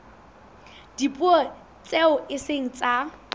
dipuo tseo e seng tsa